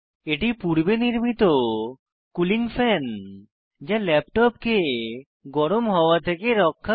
এটি পূর্বে নির্মিত কুলিং ফ্যান যা ল্যাপটপকে গরম হওয়া থেকে রক্ষা করে